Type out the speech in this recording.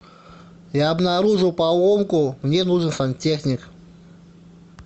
я обнаружил поломку мне нужен сантехник